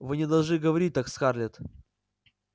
вы не должны говорить так скарлетт